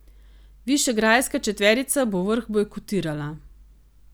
Višegrajska četverica bo vrh bojkotirala.